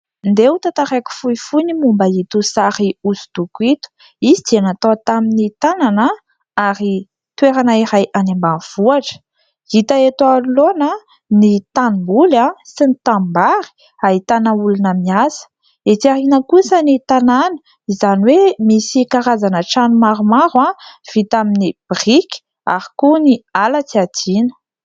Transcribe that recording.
Andeha ho tantaraiko fohifohy ny momba ito sary hosodoko ito. Izy dia natao tamin'ny tanana ary toerana iray any ambanivohitra. Hita eto anoloana ny tanimboly sy ny tanimbary ahitana olona miasa. Etsy aoriana kosa ny tanàna, izany hoe misy karazana trano maromaro vita amin'ny biriky ary koa ny ala tsy adino.